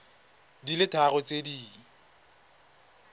di le tharo tse di